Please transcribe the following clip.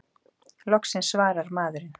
Loksins svarar maðurinn!